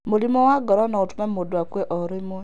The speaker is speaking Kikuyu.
Mũrimũ wa ngoro no ũtũme mũndũ akue o rĩmwe.